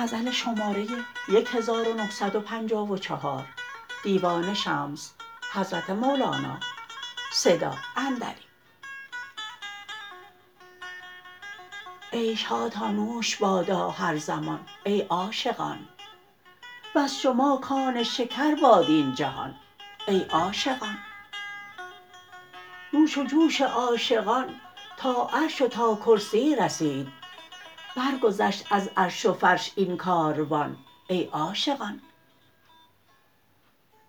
عیش هاتان نوش بادا هر زمان ای عاشقان وز شما کان شکر باد این جهان ای عاشقان نوش و جوش عاشقان تا عرش و تا کرسی رسید برگذشت از عرش و فرش این کاروان ای عاشقان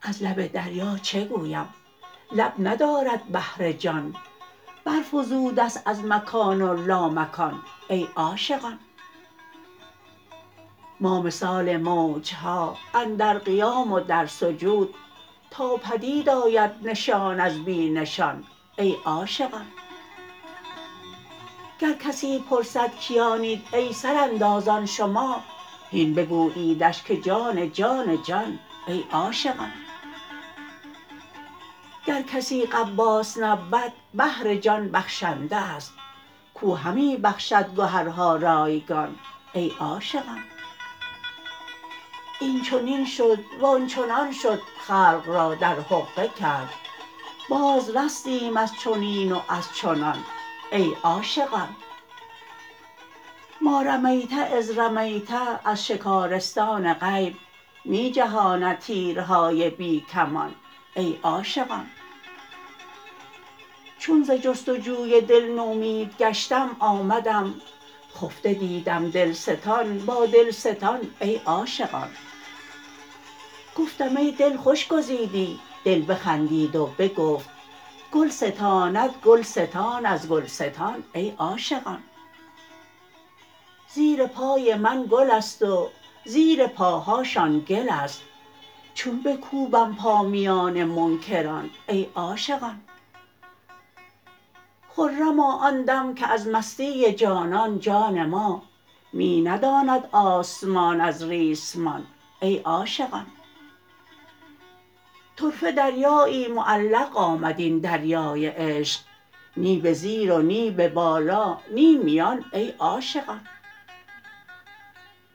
از لب دریا چه گویم لب ندارد بحر جان برفزوده ست از مکان و لامکان ای عاشقان ما مثال موج ها اندر قیام و در سجود تا بدید آید نشان از بی نشان ای عاشقان گر کسی پرسد کیانید ای سراندازان شما هین بگوییدش که جان جان جان ای عاشقان گر کسی غواص نبود بحر جان بخشنده است کو همی بخشد گهرها رایگان ای عاشقان این چنین شد وان چنان شد خلق را در حقه کرد بازرستیم از چنین و از چنان ای عاشقان ما رمیت اذ رمیت از شکارستان غیب می جهاند تیرهای بی کمان ای عاشقان چون ز جست و جوی دل نومید گشتم آمدم خفته دیدم دل ستان با دلستان ای عاشقان گفتم ای دل خوش گزیدی دل بخندید و بگفت گل ستاند گل ستان از گلستان ای عاشقان زیر پای من گل است و زیر پاهاشان گل است چون بکوبم پا میان منکران ای عاشقان خرما آن دم که از مستی جانان جان ما می نداند آسمان از ریسمان ای عاشقان طرفه دریایی معلق آمد این دریای عشق نی به زیر و نی به بالا نی میان ای عاشقان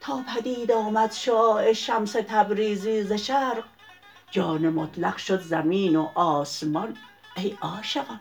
تا بدید آمد شعاع شمس تبریزی ز شرق جان مطلق شد زمین و آسمان ای عاشقان